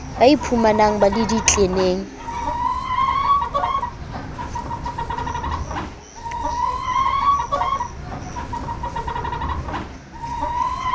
ba iphumang ba le ditleneng